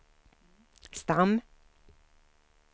stam